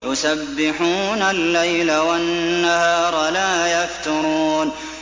يُسَبِّحُونَ اللَّيْلَ وَالنَّهَارَ لَا يَفْتُرُونَ